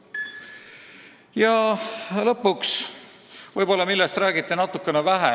Ja lõpuks sellest, millest räägiti natuke vähe.